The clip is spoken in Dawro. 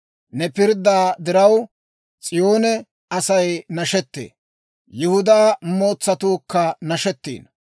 Ne pirddaa diraw, S'iyoone Asay nashettee; Yihudaa mootsatuukka nashettiino.